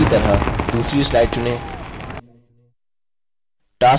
इसी तरह दूसरी slide चुनें